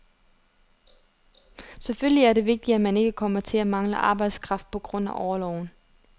Selvfølgelig er det vigtigt, at man ikke kommer til at mangle arbejdskraft på grund af orloven.